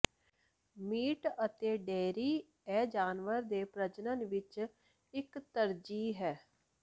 meat ਅਤੇ dairy ਇਹ ਜਾਨਵਰ ਦੇ ਪ੍ਰਜਨਨ ਵਿੱਚ ਇੱਕ ਤਰਜੀਹ ਹੈ